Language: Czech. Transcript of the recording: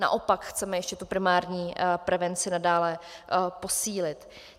Naopak chceme ještě tu primární prevenci nadále posílit.